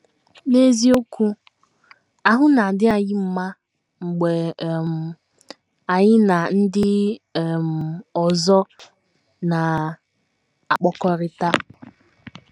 N’eziokwu, ahụ́ na - adị anyị mma mgbe um anyị na ndị um ọzọ na - akpakọrịta.